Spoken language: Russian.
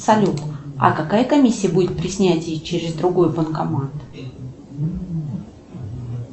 салют а какая комиссия будет при снятии через другой банкомат